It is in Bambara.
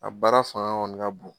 A baara fanga ka bon